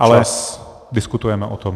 Ale diskutujeme o tom.